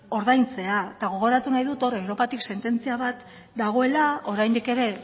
ordaintzea eta gogoratu nahi dut hor europatik sententzia bat dagoela oraindik ere